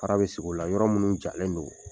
Fara be sigi o la, yɔrɔ munnu jalen don.